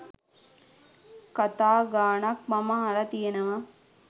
කතා ගාණක් මම අහල තියෙනවා.